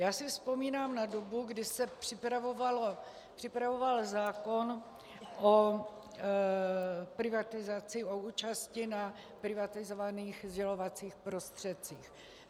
Já si vzpomínám na dobu, kdy se připravoval zákon o privatizaci, o účasti na privatizovaných sdělovacích prostředcích.